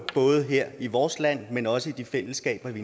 både her i vores land men også i de fællesskaber vi